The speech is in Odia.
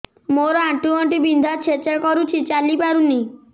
ମୋର ଆଣ୍ଠୁ ଗଣ୍ଠି ବିନ୍ଧା ଛେଚା କରୁଛି ଚାଲି ପାରୁନି